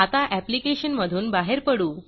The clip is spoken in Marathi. आता ऍप्लिकेशन मधून बाहेर पडू